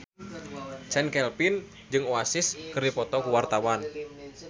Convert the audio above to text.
Chand Kelvin jeung Oasis keur dipoto ku wartawan